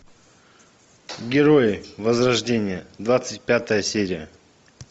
герои возрождение двадцать пятая серия